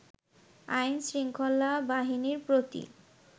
আইন-শৃঙ্খলা বাহিনীর প্রতি